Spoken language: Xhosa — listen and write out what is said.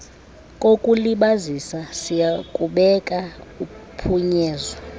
kokulibazisa siyakubeka uphunyezo